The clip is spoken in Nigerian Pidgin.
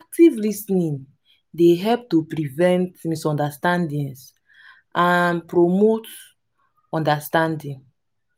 active lis ten ing dey help to prevent misunderstandings and promote understanding.